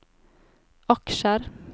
aksjer